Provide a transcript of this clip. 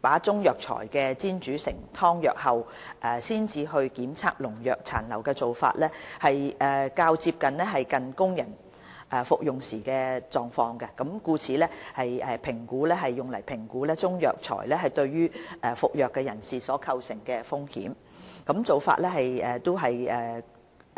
把中藥材煎煮成湯藥後才檢測農藥殘留的做法，較接近供人服用時的狀況，故此用作評估中藥材對服藥人士所構成的風險，